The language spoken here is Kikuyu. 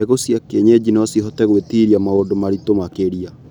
Mbegũ cia kienyeji nocihote gwĩtiria maũndu maritũ makĩria.